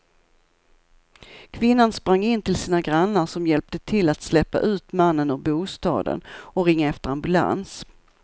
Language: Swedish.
Kvinnan sprang in till sina grannar som hjälpte till att släpa ut mannen ur bostaden och ringa efter ambulans.